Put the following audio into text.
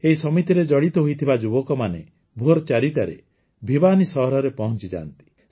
ଏହି ସମିତିରେ ଜଡ଼ିତ ହୋଇଥିବା ଯୁବକମାନେ ଭୋର୍ ୪ଟାରେ ଭିବାନୀ ସହରରେ ପହଂଚିଯାନ୍ତି